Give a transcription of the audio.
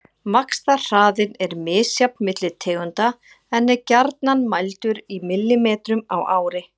Vaxtarhraðinn er misjafn milli tegunda en er gjarnan mældur í millimetrum á ári.